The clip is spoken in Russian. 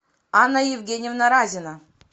анна евгеньевна разина